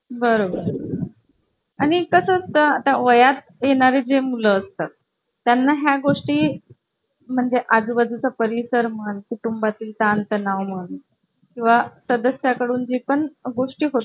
तो तीन वर्ष जुना आहे